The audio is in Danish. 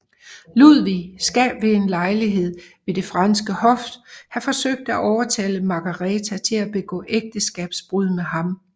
Ludvig skal ved en lejlighed ved det franske hof have forsøgt at overtale Margareta til at begå ægteskabsbrud med ham